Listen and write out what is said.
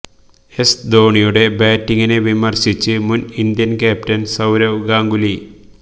S ധോനിയുടെ ബാറ്റിങ്ങിനെ വിമര്ശിച്ച് മുന് ഇന്ത്യന് ക്യാപ്റ്റന് സൌരവ് ഗാംഗുലി